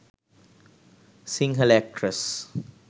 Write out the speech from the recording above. sinhala actress